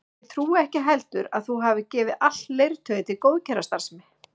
Og ég trúi ekki heldur að þú hafir gefið allt leirtauið til góðgerðarstarfsemi